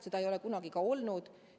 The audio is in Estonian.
Seda ei ole kunagi olnud.